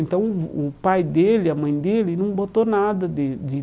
Então o o pai dele, a mãe dele, não botou nada de.